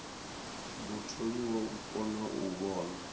mutholiwa u kona u vhona